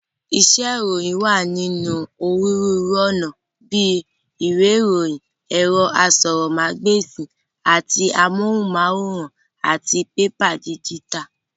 Iṣẹ́ ìròyìn wá ní onírúurú ọ̀nà bíi ìwé ìròyìn, ẹ̀rọ asọ̀rọ̀mágb'èsì àti amóhùnm'áwòrán, àti pẹpẹ díjítà.